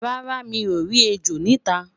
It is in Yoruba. rárá, mi o rí ẹjọ nita